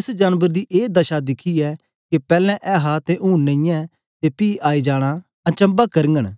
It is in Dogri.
एस जानबर दी ए दशा दिखियै के पैलैं ऐहा ते हूंन नेईयैं ते पी आई जाना अचम्भा करघंन